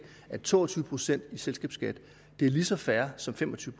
at to og tyve procent i selskabsskat er lige så fair som fem og tyve